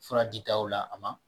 Fura ditaw la a ma.